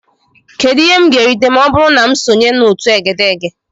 Kedu ihe m ga-erite ma ọ bụrụ na m sonye na otu egedege?